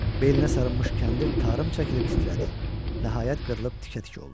Belinə sarınmış kəndir tarım çəkilib titrədi, nəhayət qırılıb tikə-tikə oldu.